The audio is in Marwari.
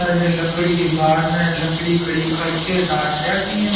और लकड़ी की बाड़ ने लकड़ी खड़ी करके डाट रखी है।